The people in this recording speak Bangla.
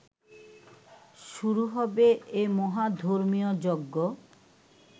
শুরু হবে এ মহা ধর্মীয়যজ্ঞ